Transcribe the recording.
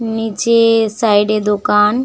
নিচে সাইড -এ দোকান।